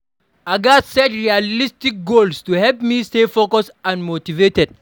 I gats set realistic goals to help me stay focused and motivated.